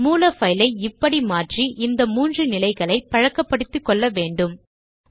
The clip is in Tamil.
மூல பைலை இப்படி மாற்றி இந்த மூன்று நிலைகளை பழக்கப்படுத்திக்கொள்ள வேண்டுகிறேன்